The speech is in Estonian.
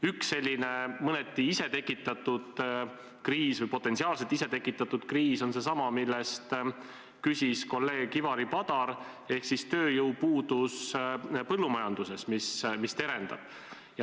Üks selline mõneti isetekitatud kriis või potentsiaalselt isetekitatud kriis on seesama, mille kohta küsis kolleeg Ivari Padar, ehk siis tööjõupuudus põllumajanduses, mis terendab.